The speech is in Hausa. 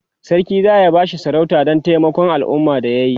sarki zaya bashi sarauta Dan taimakon alumma da yayi